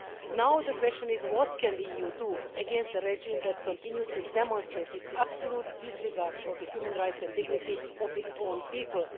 Now the question is, what can the EU do against a regime that continues to demonstrate its absolute disregard for the human rights and dignity of its own people?